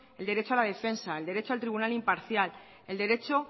el derecho a la defensa el derecho al tribunal imparcial el derecho